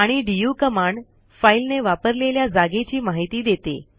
आणि DU command file ने वापरलेल्या जागेची माहिती देते